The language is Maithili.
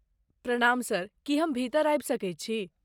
प्रणाम सर, की हम भीतर आबि सकैत छी?